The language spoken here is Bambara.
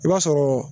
I b'a sɔrɔ